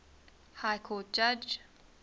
high court judge